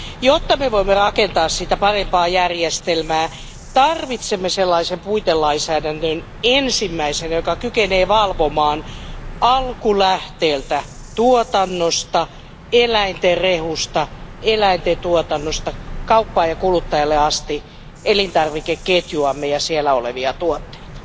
Jotta me voimme rakentaa siitä parempaa järjestelmää, tarvitsemme ensimmäisenä sellaisen puitelainsäädännön, joka kykenee valvomaan alkulähteeltä, tuotannosta, eläinten rehusta, eläinten tuotannosta kauppaan ja kuluttajalle asti elintarvikeketjuamme ja siellä olevia tuotteita.